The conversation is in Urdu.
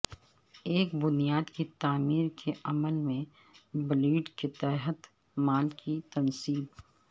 ایک بنیاد کی تعمیر کے عمل میں بلیڈ کے تحت مال کی تنصیب